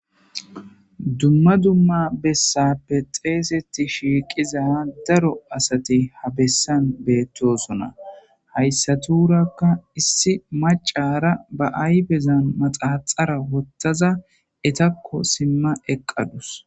dumma dumma bessappe xeeseti shiiqiza daro asati habessan beettosona hayssatuurakka issi macara ba aybezan maxaaxara wottaza etakko simma eqqadus